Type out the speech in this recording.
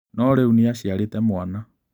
No rĩu nĩaciarĩte mwana.